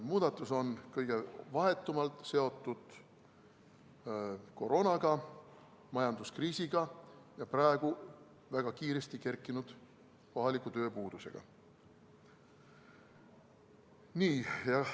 Muudatus on kõige vahetumalt seotud koroonaga, majanduskriisiga ja praegu väga kiiresti kerkinud kohaliku tööpuudusega.